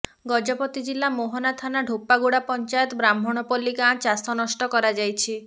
ଗଜପତି ଜିଲ୍ଲା ମୋହନା ଥାନା ଢେପାଗୁଡ଼ା ପଞ୍ଚାୟତ ବ୍ରାହ୍ମଣପଲ୍ଲୀ ଗାଁ ଚାଷ ନଷ୍ଟ କରାଯାଇଛି